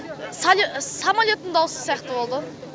сәл самолеттің дауысы сияқты болды ғой